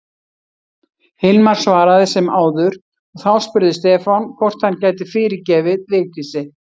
Hilmar svaraði sem áður og þá spurði Stefán hvort hann gæti fyrirgefið Vigdísi.